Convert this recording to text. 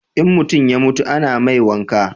in mutum ya mutu a na mai wanka